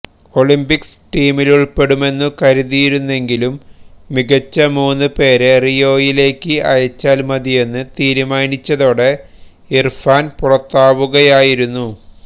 Olympics ടീമിലുള്പ്പെടുമെന്നു കരുതിയിരുന്നെങ്കിലും മികച്ച മൂന്നുപേരെ റിയോയിലേക്ക് അയച്ചാല് മതിയെന്നു തീരുമാനിച്ചതോടെ ഇര്ഫാന് പുറത്താവുകയായിരുന്നു